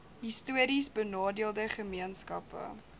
histories benadeelde gemeenskappe